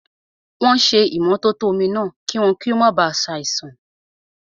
Wọ́n ṣé ìmótótó omi náà, kí wọ́n máa ba ṣe àìsàn